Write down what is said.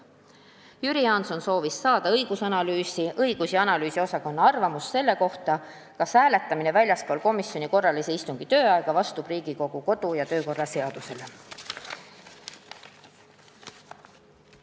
Jüri Jaanson soovis saada õigus- ja analüüsiosakonna arvamust selle kohta, kas hääletamine väljaspool komisjoni korralise istungi tööaega vastab Riigikogu kodu- ja töökorra seadusele.